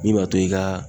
Min b'a to i ka